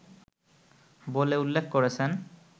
বলে উল্লেখ করেছেন